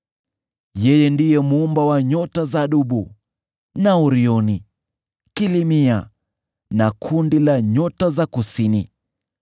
Yeye ndiye Muumba wa nyota za Dubu, na Orioni, Kilimia, na makundi ya nyota za kusini.